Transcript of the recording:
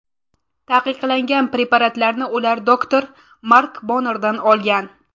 Taqiqlangan preparatlarni ular doktor Mark Bonardan olgan.